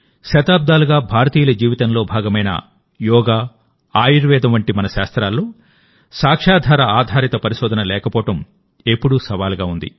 శతాబ్దాలుగా భారతీయుల జీవితంలో భాగమైన యోగా ఆయుర్వేదం వంటి మన శాస్త్రాల్లో సాక్ష్యాధార ఆధారిత పరిశోధన లేకపోవడం ఎప్పుడూ సవాలుగా ఉంది